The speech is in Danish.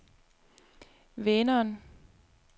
Vänern